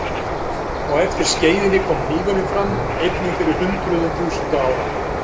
Á eftir skeiðinni kom hnífurinn fram, einnig fyrir hundruðum þúsunda ára.